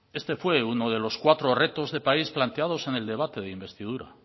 este fue uno de los cuatro retos de país planteados en el debate de investidura